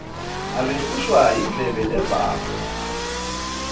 abehlushwa yindlebe levako